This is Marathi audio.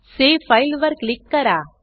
सावे फाइल वर क्लिक करा